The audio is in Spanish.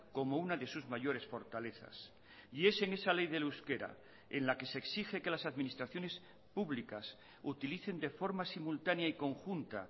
como una de sus mayores fortalezas y es en esa ley del euskera en la que se exige que las administraciones públicas utilicen de forma simultánea y conjunta